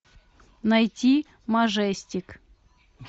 найти мажестик